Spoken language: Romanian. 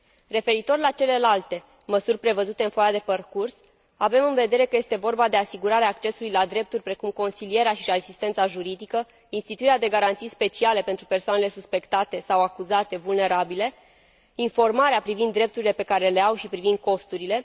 Referitor la celelalte măsuri prevăzute în foaia de parcurs, avem în vedere că este vorba de asigurarea accesului la drepturi precum consilierea și asistența juridică, instituirea de garanții speciale pentru persoanele suspectate sau acuzate vulnerabile, informarea privind drepturile pe care le au și privind costurile.